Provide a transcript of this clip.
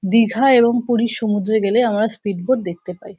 দীঘা এবং পুরীর সমুদ্রে গেলে আমরা স্পিড বোট দেখতে পাই।